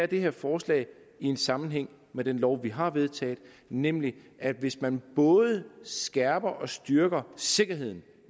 det her forslag i en sammenhæng med den lov vi har vedtaget nemlig at hvis man både skærper og styrker sikkerheden